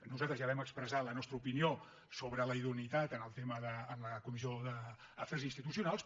nosaltres ja vam expressar la nostra opinió sobre la idoneïtat en la comissió d’afers institucionals